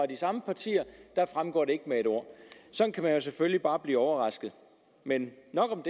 de samme partier der fremgår det ikke med et ord sådan kan man jo selvfølgelig bare blive overrasket men nok om